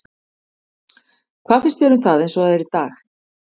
Hvað finnst þér um það eins og það er í dag?